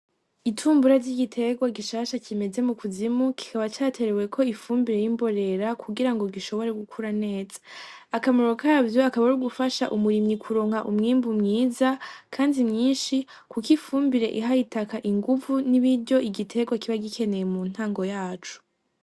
Itumbura ry'igiterwa gishasha kimeze mu kuzimu kikaba cateweko ifumbire y'imborera kugira ngo gishobore gukura neza, akamaro kavyo akaba ari ugufasha umurimyi kuronka umwimbu mwiza kandi mwinshi kuko ifumbire iha itaka inguvu n'ibiryo igiterwa kiba gikeneye mu ntago yaco.